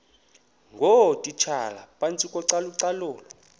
ngootitshala phantsi kocalucalulo